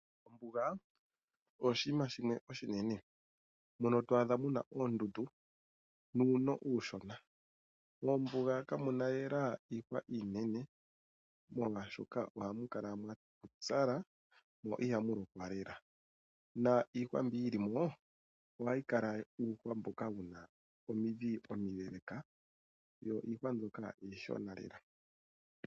Ombuga oshima shimwe oshinene. Mono to adha muna oondundu nuuno uushona. Mombuga kamuna lela iihwa inene. Molwashoka oha mu kala mwapupyala mo iha mu lokwa lela. Na iihwa mbyoka yili mo ohawu kala uuhwa mboka wuna omidhi omileeleka. Yo iihwa mbyoka iishona lela.